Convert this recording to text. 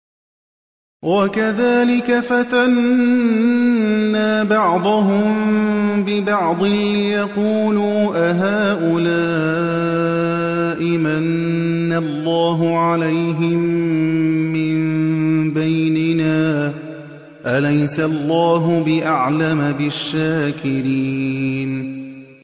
وَكَذَٰلِكَ فَتَنَّا بَعْضَهُم بِبَعْضٍ لِّيَقُولُوا أَهَٰؤُلَاءِ مَنَّ اللَّهُ عَلَيْهِم مِّن بَيْنِنَا ۗ أَلَيْسَ اللَّهُ بِأَعْلَمَ بِالشَّاكِرِينَ